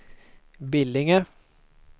Billinge